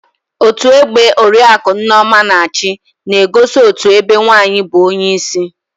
Otú ọgbe oriaku Nneoma na-achi na-egosi otú ebe nwaanyị bụ onyeisi